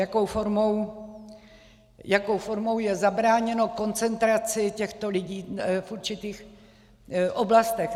Jakou formou je zabráněno koncentraci těchto lidí v určitých oblastech.